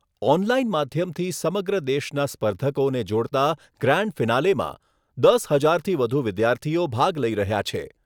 Online માધ્યમથી સમગ્ર દેશના સ્પર્ધકોને જોડતા ગ્રાન્ડ ફિનાલેમાં દસ હજારથી વધુ વિદ્યાર્થીઓ ભાગ લઈ રહ્યા છે.